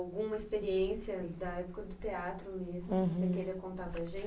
Alguma experiência da época do teatro mesmo. Uhum. Que você queira contar para a gen